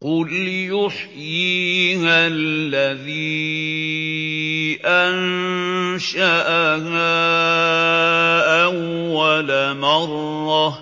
قُلْ يُحْيِيهَا الَّذِي أَنشَأَهَا أَوَّلَ مَرَّةٍ ۖ